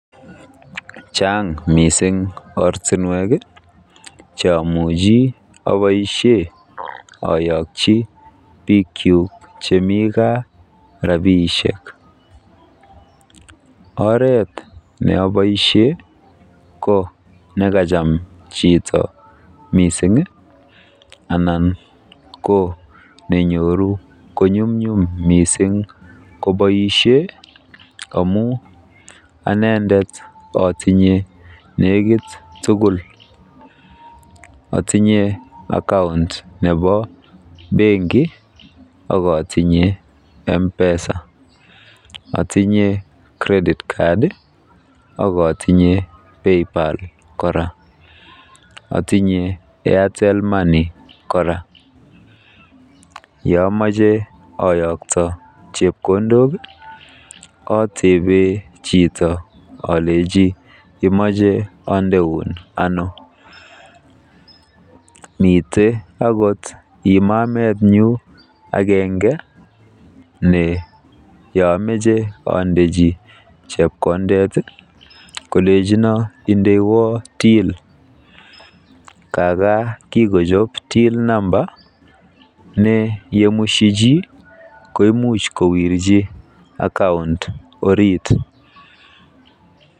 Chaang mising ortinwek cheimuch oboisie oyokyine biikyuk chemi gaa rabiisiek. Oret ne oboisie ko nekachan chito mising anan ko nenyoru konyumnyum mising koboisie amu anendet otinye neekit tukul. Otinye akaunt nepo Banki akotinye akaunt nebo Mpesa. Otinye Paypal akotinye Credit card kora. Otinye Airtel Money kora. Yeamache oyokto chepkondok otebe olechi imache ondeun ano. Mitei imamemetnyu ne yeamache andechi chepkondok kolechino indeywo till. Kaakaa kikochob till namba ne ngomushi chi ko imuch kondechi Akaunt.